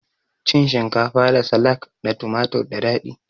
Cin shinkafa da salak da tumatur da dadi